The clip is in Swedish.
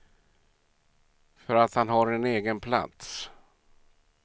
För att han har en egen plats.